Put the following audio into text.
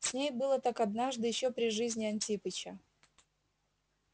с ней было так однажды ещё при жизни антипыча